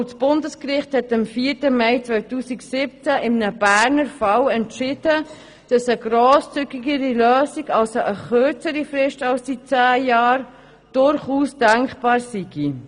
Das Bundesgericht hat im 4. Mai 2017 in einem Berner Fall entschieden, dass eine grosszügigere Lösung, also eine kürzere Frist als die zehn Jahre, durchaus denkbar sei.